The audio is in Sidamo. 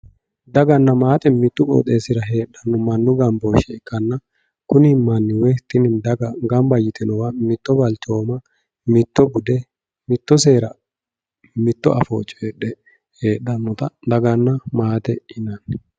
daganna maate mittu qooxeessira heerannoha mannu gambooshshe ikkanna kuni manni woyi tini daga gamba yitinowa mitto balchooma mitto bude mitto seera mitto afoo coyiidhe heedhannota daganna maatete yinanni.